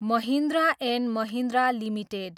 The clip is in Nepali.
Mahindra and Mahindra limited